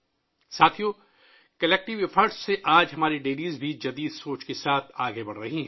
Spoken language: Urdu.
ساتھیو ، اجتماعی کوششوں سے آج ہماری ڈیریاں بھی جدید سوچ کے ساتھ آگے بڑھ رہی ہیں